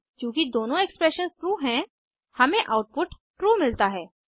चूँकि दोनों expressions true हैं हमें आउटपुट ट्रू मिलता है